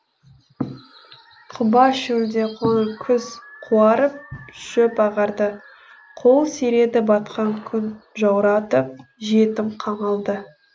құба шөлде қоңыр күз қуарып шөп ағарды қол сиреді батқан күн жауратып жетім қамалды